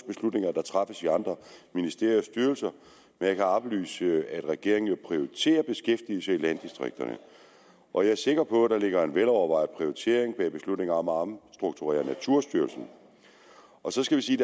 beslutninger der træffes i andre ministerier og styrelser men jeg kan oplyse at regeringen jo prioriterer beskæftigelse i landdistrikterne og jeg er sikker på at der ligger en velovervejet prioritering bag beslutningen om at omstrukturere naturstyrelsen så skal vi sige